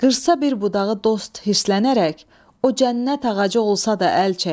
Qırsa bir budağı dost hirslənərək, o cənnət ağacı olsa da əl çək.